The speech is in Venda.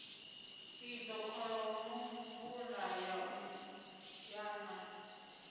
idzo kholomo mvula ya na